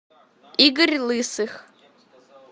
игорь лысых